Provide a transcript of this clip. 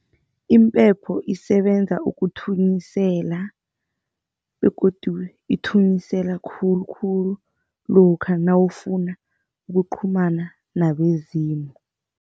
Impepho isebenza ukuthunyisela begodu ithunyisela khulukhulu lokha nawufuna ukuqhumana nabezimu.